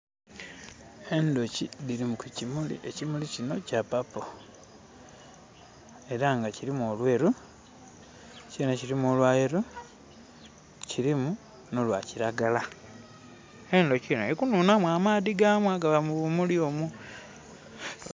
Enduki diri ku kimuli. Ekimuli kino kya purple era nga kirimu olweru kyene kirimu olwa yellow kirimu no lwa kiragala. Enduki eno eri kunhunhamu amaadhi gamu agaba mu bumuli omwo